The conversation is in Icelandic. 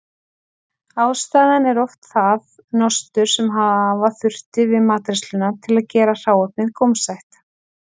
Ástæðan er oft það nostur sem hafa þurfti við matreiðsluna til að gera hráefnið gómsætt.